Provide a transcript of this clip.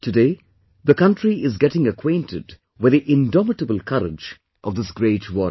Today, the country is getting acquainted with the indomitable courage of this great warrior